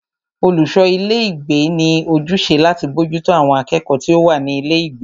Olùṣọ ilé ìgbé ní ojúṣe láti bójútó àwọn akẹ́kọ̀ọ́ tí o wá ní ilé ìgbé.